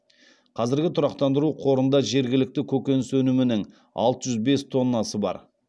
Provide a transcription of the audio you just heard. қазір тұрақтандыру қорында жергілікті көкөніс өнімінің алты жүз бес тоннасы бар